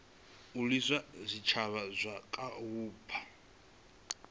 alusa zwitshavha zwa kha vhupo